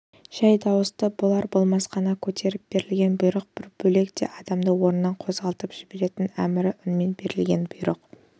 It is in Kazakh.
жай дауысты болар-болмас қана көтеріп берілген бұйрық бір бөлек те адамды орнынан қозғалтып жіберетін әмірлі үнмен берілген бұйрық